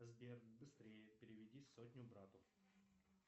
сбер быстрее переведи сотню брату